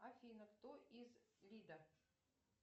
афина кто из лида